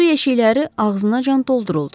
Su yeşikləri ağzınacan dolduruldu.